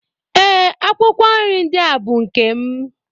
Ee, akwụkwọ nrí ndị bụ nkè m